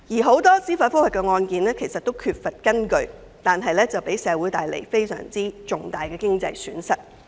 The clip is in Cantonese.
很多司法覆核個案均缺乏根據，但卻為社會帶來非常重大的經濟損失。